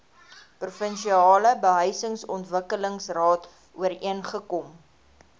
provinsiale behuisingsontwikkelingsraad ooreengekom